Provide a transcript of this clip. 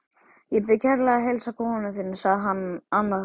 Ég bið kærlega að heilsa konu þinni sagði annar þeirra.